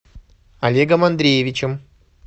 олегом андреевичем